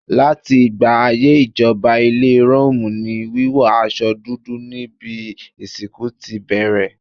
Láti ìgbà ayé ìjọba ilẹ̀ Róòmù ni wíwọ aṣọ dúdú níbi ìsìnkú ti bẹ̀rẹ̀.